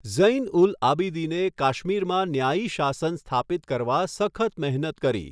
ઝૈન ઉલ આબિદીને કાશ્મીરમાં ન્યાયી શાસન સ્થાપિત કરવા સખત મહેનત કરી.